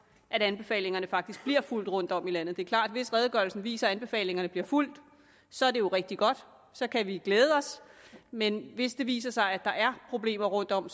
at anbefalingerne faktisk bliver fulgt rundtom i landet det er klart at hvis redegørelsen viser at anbefalingerne bliver fulgt så er det jo rigtig godt så kan vi glæde os men hvis det viser sig at der er problemer rundtom